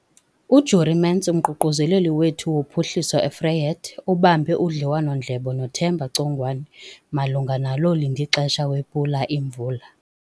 UJurie Mentz, uMququzeleli wethu woPhuhliso eVryheid, ubambe udliwano-ndlebe noThemba Congwane malunga nalo lindixesha wePula Imvula.